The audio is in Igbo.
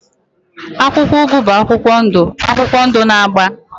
akwụkwọ ugu bụ akwụkwọ ndụ akwụkwọ ndụ na agba.